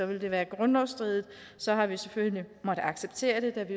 det være grundlovsstridigt og så har vi selvfølgelig måttet acceptere det da vi